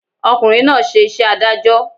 Ọ̀kùnrin náà ṣe iṣẹ́ adájọ́